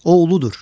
O uludur.